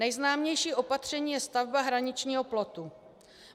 Nejznámější opatření je stavba hraničního plotu.